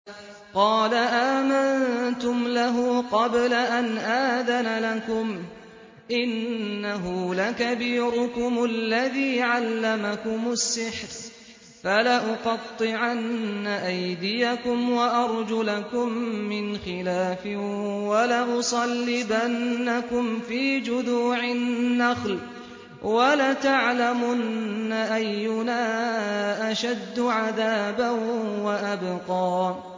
قَالَ آمَنتُمْ لَهُ قَبْلَ أَنْ آذَنَ لَكُمْ ۖ إِنَّهُ لَكَبِيرُكُمُ الَّذِي عَلَّمَكُمُ السِّحْرَ ۖ فَلَأُقَطِّعَنَّ أَيْدِيَكُمْ وَأَرْجُلَكُم مِّنْ خِلَافٍ وَلَأُصَلِّبَنَّكُمْ فِي جُذُوعِ النَّخْلِ وَلَتَعْلَمُنَّ أَيُّنَا أَشَدُّ عَذَابًا وَأَبْقَىٰ